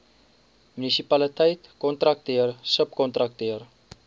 munisipaliteit kontrakteur subkontrakteur